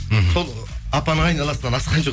мхм сол апаның айналасынан асқан жоқ